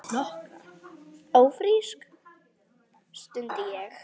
Ófrísk? stundi ég.